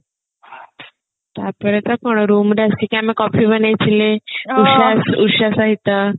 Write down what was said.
ତାପରେ ତ କଣ room ରେ ଆସିକି ଆମେ କଫି ବନେଇଥିଲେ ଉଷା ଉଷା ସହିତ